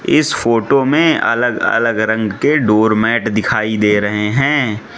इस फोटो में अलग अलग रंग के डोर मेट दिखाई दे रहे हैं।